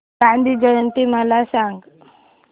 गांधी जयंती मला सांग